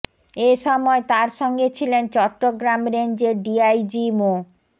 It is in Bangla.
এ সময় তার সঙ্গে ছিলেন চট্টগ্রাম রেঞ্জের ডিআইজি মো